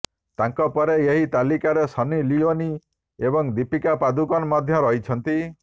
ତାଙ୍କପରେ ଏହି ତାଲିକାରେ ସନ୍ନି ଲିଓନି ଏବଂ ଦୀପିକା ପାଦୁକନ ମଧ୍ୟ ରହିଛନ୍ତି